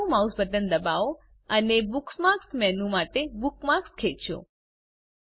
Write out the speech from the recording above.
ડાબું mouse button દબાવો અને બુકમાર્ક્સ મેનુ માટે બુકમાર્ક ખેંચો